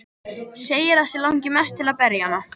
Segir að sig langi mest til að berja hana.